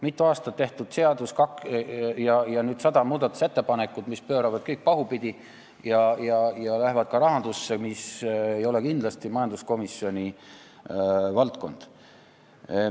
Mitu aastat tehtud seaduseelnõul on sada muudatusettepanekut, mis pööravad kõik pahupidi ja puudutavad ka rahandust, mis ei ole kindlasti majanduskomisjoni valdkond.